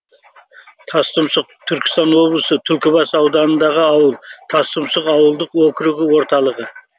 тастұмсық түркістан облысы түлкібас ауданындағы ауыл тастұмсық ауылдық округі орталығы